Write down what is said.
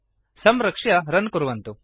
संरक्ष्य रन् कुर्वन्तु